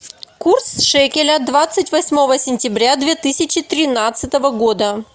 курс шекеля двадцать восьмого сентября две тысячи тринадцатого года